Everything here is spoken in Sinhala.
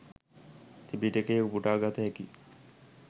ත්‍රිපිටකයෙන් උපුටා ගත හැකි